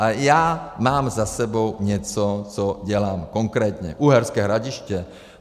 A já mám za sebou něco, co dělám, konkrétně Uherské Hradiště;